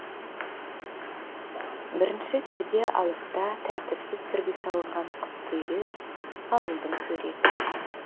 бірінші перде алыста тәртіпсіз түрде салынған қысқы үйлер ауылдың суреті